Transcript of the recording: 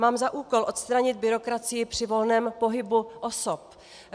Mám za úkol odstranit byrokracii při volném pohybu osob.